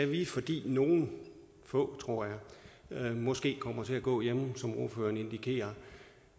vi fordi nogle få tror jeg måske kommer til at gå hjemme som ordføreren indikerer